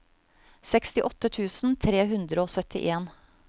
sekstiåtte tusen tre hundre og syttien